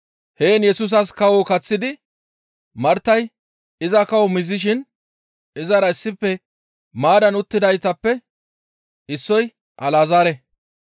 Heen Yesusas kawo kaththidi Martay iza kawo mizishin izara issife maaddan uttidaytappe issoy Alazaare.